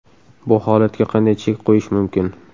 Bu holatga qanday chek qo‘yish mumkin?